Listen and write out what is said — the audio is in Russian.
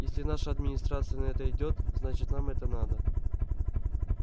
если наша администрация на это идёт значит нам это надо